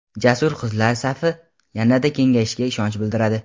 jasur qizlar safi yanada kengayishiga ishonch bildiradi!.